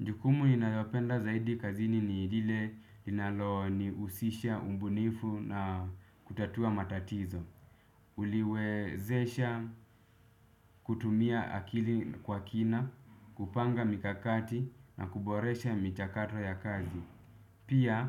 Jukumu inayopenda zaidi kazini ni ile linalonihusisha umbunifu na kutatua matatizo. Uliwezesha kutumia akili kwa kina, kupanga mikakati na kuboresha michakato ya kazi. Pia